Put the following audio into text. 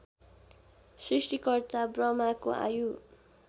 सृष्टिकर्ता ब्रह्माको आयु